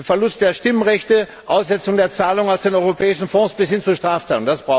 Verlust der Stimmrechte, Aussetzung der Zahlungen aus den europäischen Fonds bis hin zur Strafzahlung.